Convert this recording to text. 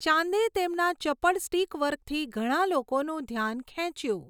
ચાંદે તેમના ચપળ સ્ટીક વર્કથી ઘણાં લોકોનું ધ્યાન ખેંચ્યું.